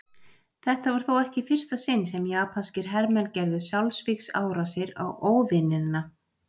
Þetta var þó ekki í fyrsta sinn sem japanskir hermenn gerðu sjálfsvígsárásir á óvinina.